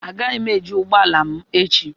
Agaghị m eji ụgbọ ala m echi